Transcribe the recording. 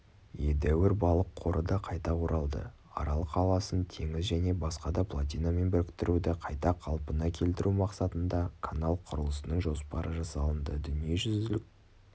едәуір балық қоры да қайта оралды арал қаласын теңіз және басқа плотинамен біріктіруді қайта қалпына келтіру мақсатында канал құрылысының жоспары жасалынды дүниежүзілік